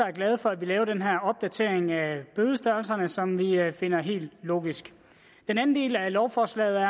er glade for at vi laver den her opdatering af bødestørrelserne som vi finder helt logisk den anden del af lovforslaget